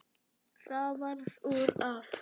Það varð úr að